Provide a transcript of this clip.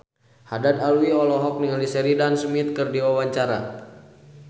Haddad Alwi olohok ningali Sheridan Smith keur diwawancara